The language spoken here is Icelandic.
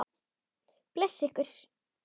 Blessi ykkur.